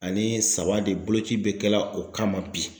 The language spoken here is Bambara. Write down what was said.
Ani saba de boloci be kɛla o kama bi.